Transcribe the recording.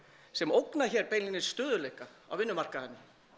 sem ógnar hér beinlínis stöðugleika á vinnumarkaði